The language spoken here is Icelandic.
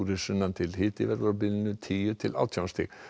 sunnan til hiti verður á bilinu tíu til átján stig